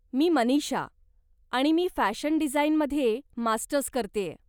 मी मनीषा, आणि मी फॅशन डिझाइनमध्ये मास्टर्स करतेय.